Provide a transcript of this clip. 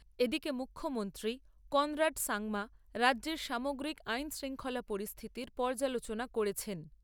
এদিকে মুখ্যমন্ত্রী কনরাড সাংমা রাজ্যের সামগ্রিক আইন শৃঙ্খলা পরিস্থিতির পর্যালোচনা করেছেন।